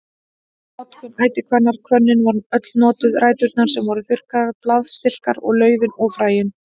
Notkun ætihvannar Hvönnin var öll notuð, ræturnar sem voru þurrkaðar, blaðstilkar, laufið og fræin.